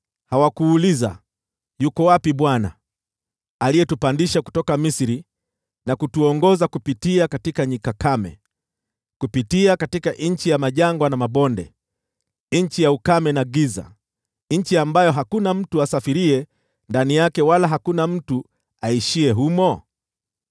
Hawakuuliza, ‘Yuko wapi Bwana , aliyetupandisha kutoka Misri na kutuongoza kupitia nyika kame, kupitia nchi ya majangwa na mabonde, nchi ya ukame na giza, nchi ambayo hakuna mtu asafiriye ndani yake wala hakuna mtu aishiye humo?’